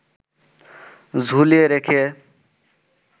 ঝুলিয়ে রেখে